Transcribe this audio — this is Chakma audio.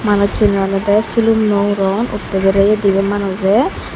manuche olode silum nw uron utte bereyi dibi manuje.